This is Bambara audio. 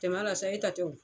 Jamana la sa e ta tɛ o.